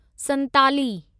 Santali